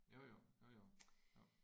Jo jo. Jo jo. Jo